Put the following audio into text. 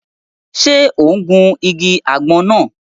Ṣe o n gun ìgi àgbon náà?